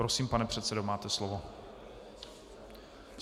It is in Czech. Prosím, pane předsedo, máte slovo.